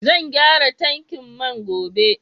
Zan gyara tankin man gobe.